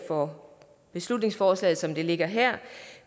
for beslutningsforslaget som det ligger her